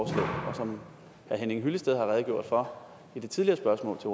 som herre henning hyllested har redegjort for i de tidligere spørgsmål til